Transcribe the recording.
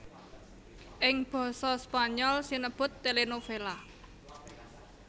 Ing basa Spanyol sinebut télénovela